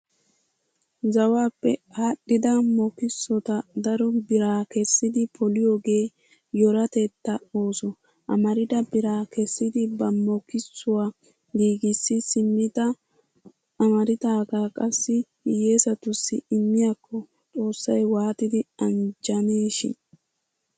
Zawaappe aadhdhida makkisota daro biraa kessidi poliyogee yoratettaa ooso. Amarida biraa kessidi ba makkisuwa giigissi simmidi amaridaagaa qassi hiyyeesattussi immiyakko xoossay waatidi anjjaneeshin!